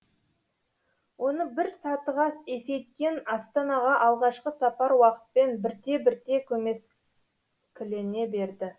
оны бір сатыға есейткен астанаға алғашқы сапар уақытпен бірте бірте көмескілене берді